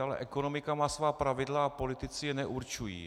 Ale ekonomika má svá pravidla a politici je neurčují.